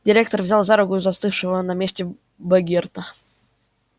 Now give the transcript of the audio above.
директор взял за руку застывшего на месте богерта